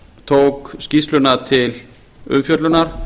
tók skýrsluna til umfjöllunar